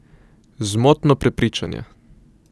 Zmotno prepričanje!